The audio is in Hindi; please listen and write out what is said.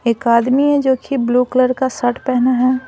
एक आदमी है जो कि ब्लू कलर का शर्ट पहना है।